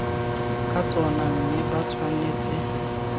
ka tsona mme ba tshwanetse